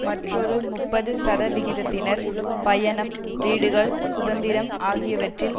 மற்றொரு முப்பது சதவிகிதத்தினர் பயணம் வீடுகள் சுதந்திரம் ஆகியவற்றில்